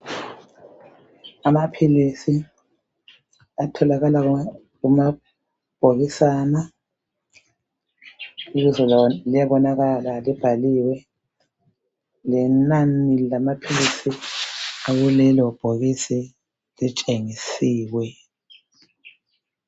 Amaphilisi atholakala kumabhokisana ibizo lawo liyabonakala libhaliwe lenani lamaphilisi akulelo bhokisi litshengisiwe.